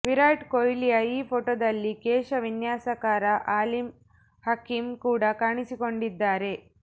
ವಿರಾಟ್ ಕೊಹ್ಲಿಯ ಈ ಫೋಟೋದಲ್ಲಿ ಕೇಶ ವಿನ್ಯಾಸಕಾರ ಆಲಿಮ್ ಹಕಿಮ್ ಕೂಡ ಕಾಣಿಸಿಕೊಂಡಿದ್ದಾರೆ